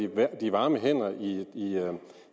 være de varme hænder i